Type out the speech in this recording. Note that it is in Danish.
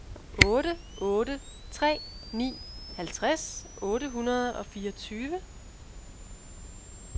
otte otte tre ni halvtreds otte hundrede og fireogtyve